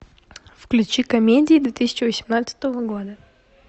включи комедии две тысячи восемнадцатого года